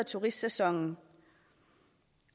turistsæsonen